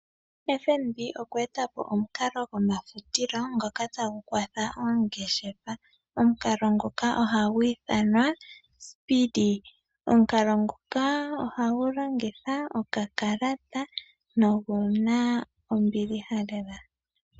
FNB okwee ta po omukalo gomafutilo ngoka tagu kwatha oongeshefa. Omukalo ngoka ohagu ithanwa Speedee. Omukalo nguka ohagu longitha okakalata noguna ombiliha lela.